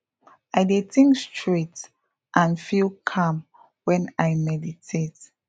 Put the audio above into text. i dey think straight and feel calm when i meditate